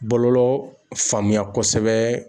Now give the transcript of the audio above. Bɔlɔlɔ faamuya kɔsɛbɛ